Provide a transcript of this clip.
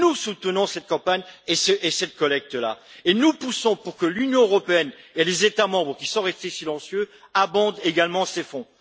Nous soutenons cette campagne et cette collecte là, et nous poussons pour que l'Union européenne et les États membres qui sont restés silencieux abondent également ces fonds.